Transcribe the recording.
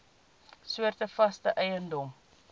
soorte vaste eiendom